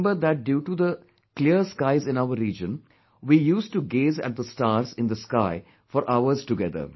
I remember that due to the clear skies in our region, we used to gaze at the stars in the sky for hours together